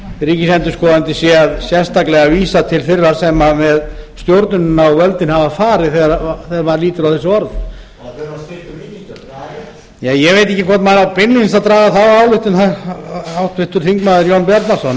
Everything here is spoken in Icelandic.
ríkisendurskoðandi sé sérstaklega að vísa til þeirra sem með stjórnunina og völdin hafa farið þegar maður lítur þessi orð ég veit ekki hvort maður á beinlínis að draga þá ályktun háttvirtur þingmaður jón bjarnason en